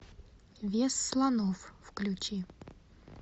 вес слонов включи